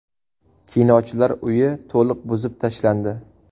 Kinochilar uyi to‘liq buzib tashlandi .